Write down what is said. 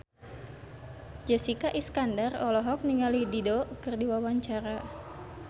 Jessica Iskandar olohok ningali Dido keur diwawancara